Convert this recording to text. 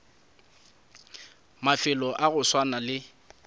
mafelo a go swana le